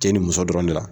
Cɛ ni muso dɔrɔn de la